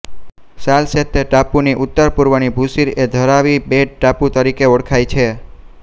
સાલસેત્તે ટાપુની ઉત્તર પૂર્વની ભૂશિર એ ધારાવી બેટ ટાપુ તરીકે ઓળખાય છે